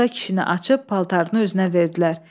Musa kişini açıb paltarını özünə verdilər.